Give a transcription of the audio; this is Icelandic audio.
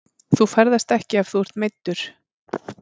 Þú ferðast ekki ef þú ert meiddur.